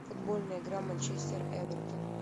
футбольная игра манчестер эвертон